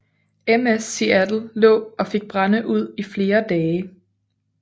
MS Seattle lå og fik brænde ud i flere dage